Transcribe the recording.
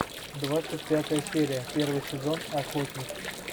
двадцать пятая серия первый сезон охотник